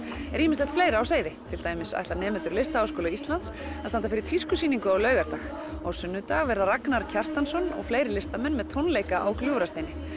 er ýmislegt fleira á seyði til dæmis ætla nemendur við Listaháskóla Íslands að standa fyrir tískusýningu á laugardag á sunnudag verða Ragnar Kjartansson og fleiri listamenn með tónleika á Gljúfrasteini